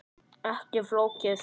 Ekki flókið.